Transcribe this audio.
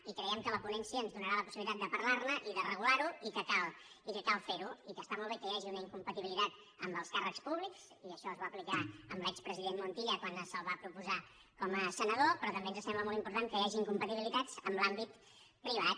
i creiem que la ponència ens donarà la possibilitat de parlar ne i de regular ho i que cal fer ho i que està molt bé que hi hagi una incompatibilitat amb els càrrecs públics i això es va aplicar a l’expresident montilla quan se’l va proposar com a senador però també ens sembla molt important que hi hagi incompatibilitats amb l’àmbit privat